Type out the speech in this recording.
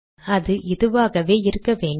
அது இதுவாகவே இருக்க வேண்டும்